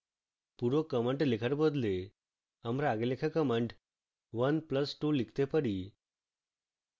পুরো command লেখার বদলে আমরা আগে লেখা command 1 plus 2 লিখতে পারি